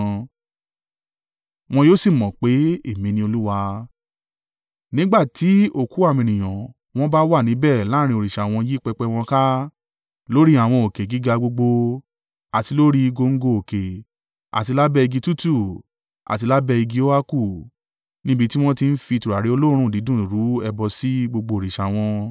Wọn yóò sì mọ̀ pé, Èmi ni Olúwa, nígbà tí òkú àwọn ènìyàn wọn bá wà níbẹ̀ láàrín òrìṣà wọn yí pẹpẹ wọn ká, lórí àwọn òkè gíga gbogbo, àti lórí góńgó òkè àti lábẹ́ igi tútù àti lábẹ́ igi óákù, níbi tí wọ́n ti ń fi tùràrí olóòórùn dídùn rú ẹbọ sí gbogbo òrìṣà wọn.